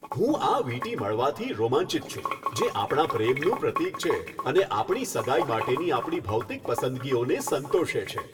હું આ વીંટી મળવાથી રોમાંચિત છું જે આપણા પ્રેમનું પ્રતીક છે અને આપણી સગાઈ માટેની આપણી ભૌતિક પસંદગીઓને સંતોષે છે.